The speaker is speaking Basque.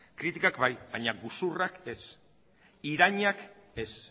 kritikak bai baina gezurrak ez irainak ez